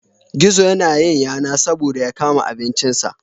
Gizo ya na yin yana saboda ya kama abincin sa